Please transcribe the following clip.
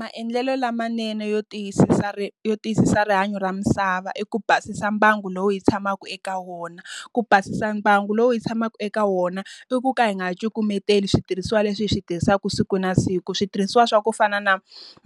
Maendlelo lamanene yo tiyisisa yo tiyisisa rihanyo ra misava i ku basisa mbangu lowu yi tshamaka eka wona. Ku basisa mbangu lowu ndzi tshamaka eka wona, i ku nga hi nga ha cukumeteli switirhisiwa leswi hi swi tirhisaka siku na siku. Switirhisiwa swa ku fana na